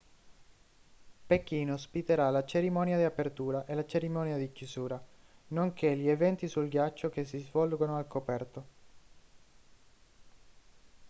pechino ospiterà la cerimonia di apertura e la cerimonia di chiusura nonché gli eventi sul ghiaccio che si svolgono al coperto